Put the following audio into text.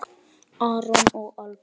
Aron og Alba.